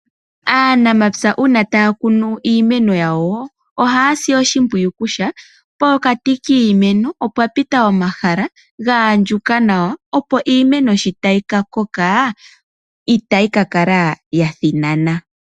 Aanamapya uuna taya kunu iimeno yawo ohaya si oshimpwiyu kutya, pokati kiimeno opwa pita omahala ga andjuka nawa, opo iimeno sho tayi ka koka, itayi ka kala ya thinanana.